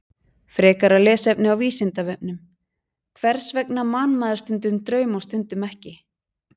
Frekara lesefni á Vísindavefnum: Hvers vegna man maður stundum draum og stundum ekki?